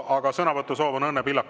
Aga sõnavõtusoov on Õnne Pillakul.